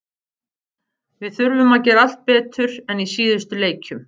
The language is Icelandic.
Ég naut leiksins en ég er auðvitað svekktur að hafa ekki náð í þrjú stig.